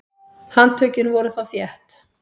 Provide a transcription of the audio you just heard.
Handtökin voru þá þétt.